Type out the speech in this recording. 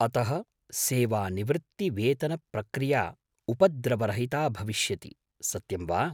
अतः, सेवानिवृत्तिवेतनप्रक्रिया उपद्रवरहिता भविष्यति, सत्यं वा?